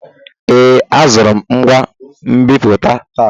Ee, azụrụ m ngwa nbipute taa.